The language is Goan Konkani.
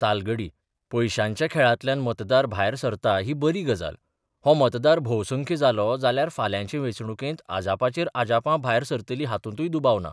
तालगडी पयशांच्या खेळांतल्यान मतदार भायर सरता ही बरी गजाल, हो मतदार भोवसंख्य जालो जाल्यार फाल्यांचे वेंचणुकेंत अजापाचेर अजापां भायर सरतलीं हातूंतय दुबाव ना.